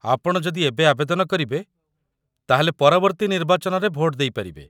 ଆପଣ ଯଦି ଏବେ ଆବେଦନ କରିବେ, ତା'ହେଲେ ପରବର୍ତ୍ତୀ ନିର୍ବାଚନରେ ଭୋଟ ଦେଇପାରିବେ